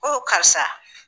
O karisa.